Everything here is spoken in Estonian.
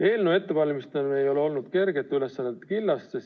Eelnõu ettevalmistamine ei ole olnud kergete ülesannete killast.